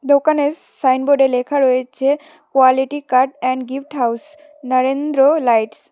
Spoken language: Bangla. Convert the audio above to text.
দোকানের সাইনবোর্ডে লেখা রয়েছে quality card and gift house Narendra lights.